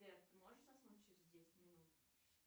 сбер ты можешь заснуть через десять минут